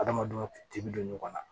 Adamadenw tin bɛ don ɲɔgɔn na